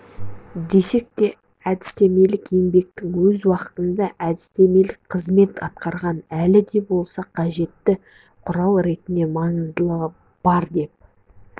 десек те әдістемелік еңбектің өз уақытында әдістемелік қызмет атқарғаны әлі де болса қажетті құрал ретінде маңыздылығы бар деп